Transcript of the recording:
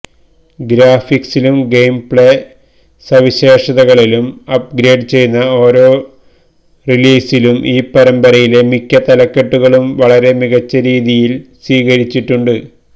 ഗ്രാഫിക്സിലും gameplay സവിശേഷതകളിലും upgrade ചെയ്യുന്ന ഓരോ റിലീസിലും ഈ പരമ്പരയിലെ മിക്ക തലക്കെട്ടുകളും വളരെ മികച്ച രീതിയിൽ സ്വീകരിച്ചിട്ടുണ്ട്